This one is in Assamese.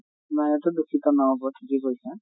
নহয় এইতো দূষিত নহʼব, ঠিকে কৈছা